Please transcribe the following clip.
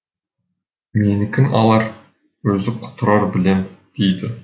менікін алар өзі құтырар білем дейді